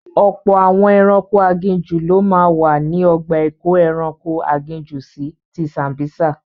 Ọ̀pọ̀ àwọn ẹranko aginjù ló máa wà ní ọgbà ìkóẹranko aginjù si ti Sambisa..